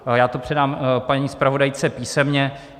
Já to předám paní zpravodajce písemně.